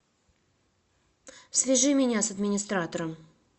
свяжи меня с администратором